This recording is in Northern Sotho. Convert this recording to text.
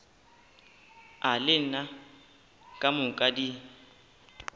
a lena ka moka di